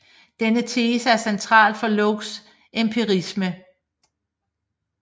Denne tese er central for Lockes empirisme